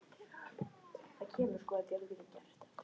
Þar ægði saman kjötbitum og beinum, þurrkuðum fiski og osti.